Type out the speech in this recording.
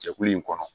Jɛkulu in kɔnɔ